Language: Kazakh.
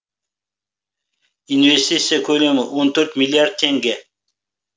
инвестиция көлемі он төрт миллиард теңге